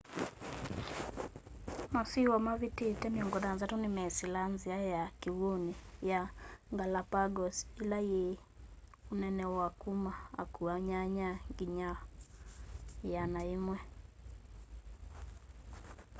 masiwa mavitite 60 nimesilaa nzia ya kiwuni ya galapagos ila yi unene wa kuma akua 8 nginya 100